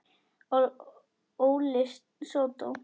Óli sódó!